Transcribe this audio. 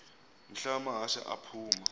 mhla amahashe aphuma